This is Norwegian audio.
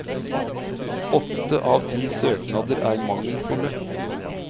Åtte av ti søknader er mangelfulle.